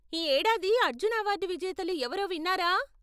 ఈ ఏడాది అర్జున అవార్డు విజేతలు ఎవరో విన్నారా?